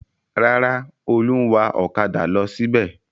Rárá, Olú ń wa ọ̀kadà lọ síbẹ̀.